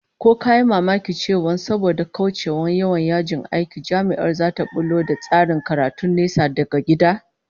Ko ka yi mamakin cewa saboda kaucewa yawan yajin aiki, Jami'ar zata bullo da tsarin karatun nesa daga gida?